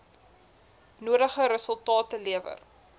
nodige resultate lewer